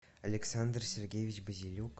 александр сергеевич базелюк